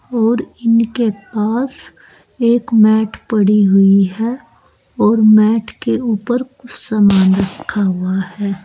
और इनके पास एक मैट पड़ी हुई है और मैट के ऊपर कुछ सामान रखा हुआ है।